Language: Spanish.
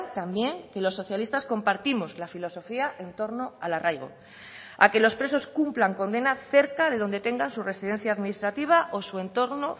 también que los socialistas compartimos la filosofía en torno al arraigo a que los presos cumplan condena cerca de donde tengan su residencia administrativa o su entorno